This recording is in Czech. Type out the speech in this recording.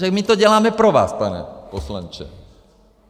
Takže my to děláme pro vás, pane poslanče.